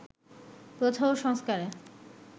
প্রথা ও সংস্কারে